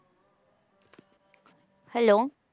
Hello